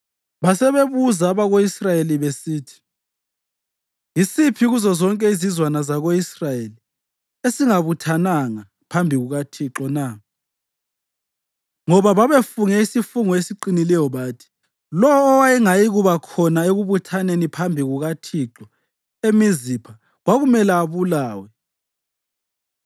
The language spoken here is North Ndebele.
Basebebuza abako-Israyeli besithi, “Yisiphi kuzozonke izizwana zako-Israyeli esingabuthananga phambi kukaThixo na?” Ngoba babefunge isifungo esiqinileyo bathi lowo owayengayikuba khona ekubuthaneni phambi kukaThixo eMizipha kwakuzamele abulawe.